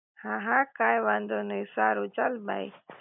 હા હા કાઇ વાંધો નહી સારું ચાલ બાઇ